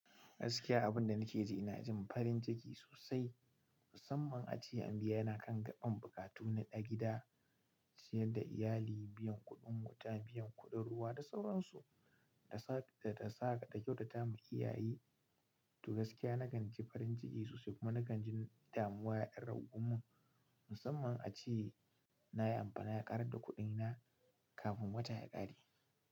Gaskiya abunda nake ji ina jin farin jiki sosai, musamman a ce an biya ni kan gaɓan buƙatu na ɗa gida, ciyar da iyali, biyan kuɗin wuta, biyan kuɗin ruwa da sauransu. Ta sa kadan kyautata ma iyaye to gaskiya na kan ji farin ciki sosai kuma na kan ji damuwa ya ɗan ragun mun, musamman a ceye nayi amfana ya ƙarar da kuɗina kafin wata ya ƙare.